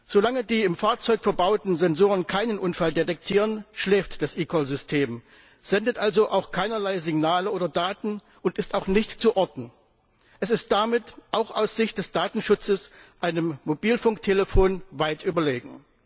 Solange die im Fahrzeug verbauten Sensoren keinen Unfall detektieren, schläft das eCall System, sendet also auch keinerlei Signale oder Daten und ist auch nicht zu orten. Es ist damit auch aus Sicht des Datenschutzes einem Mobilfunktelefon weit überlegen.